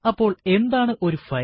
അപ്പോൾ എന്താണ് ഒരു ഫയൽ